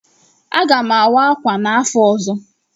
Aga m awa ákwà n'afọ ọzọ.